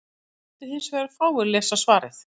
Þá mundu hins vegar fáir lesa svarið.